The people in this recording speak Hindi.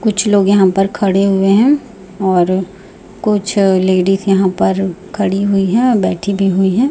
कुछ लोग यहां पर खड़े हुए हैं और कुछ लेडिस यहां पर खड़ी हुई हैं बैठी भी हुई हैं।